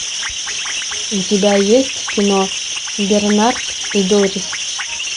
у тебя есть кино бернард и дорис